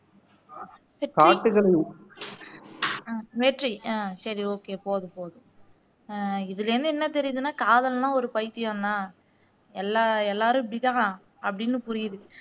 வெற்றி ஆஹ் சரி ஓகே போதும் போதும் ஆஹ் இதுல என்ன தெரியுதுன்னா காதல்னா ஒரு பைத்தியம் தான் எல்லாரும் இப்படித்தான் அப்படின்னு புரியுது